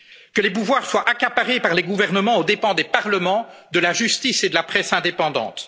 Hongrie. Que les pouvoirs soient accaparés par les gouvernements aux dépens des parlements, de la justice et de la presse indépendante.